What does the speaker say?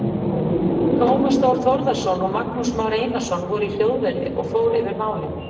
Tómas Þór Þórðarson og Magnús Már Einarsson voru í hljóðveri og fór yfir málin.